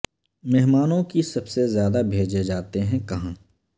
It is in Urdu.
مہمانوں کی سب سے زیادہ بھیجے جاتے ہیں کہاں